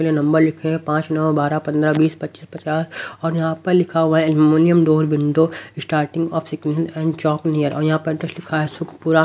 के लिए नंबर लिखे हैं पाँच नौ बारह पंद्रह बीस पच्चीस पचास और यहाँ पर लिखा हुआ है aluminium door window starting of sequence and chalk near और यहां पर एड्रेस लिखा है --